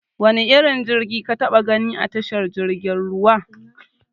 Wane irin jirgi ka taɓa gani a tashar jirgin ruwa?